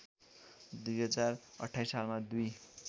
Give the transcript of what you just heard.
२०२८ सालमा दुई